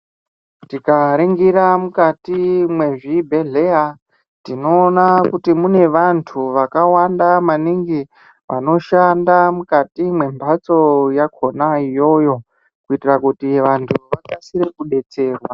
Tikaringira mukati mwezvibhedheya, tinoona kuti mune vantu vakawanda maningi, vanoshanda mukati mwemphatso yakhonayo iyoyo, kuitira kuti vantu vakasire kudetserwa.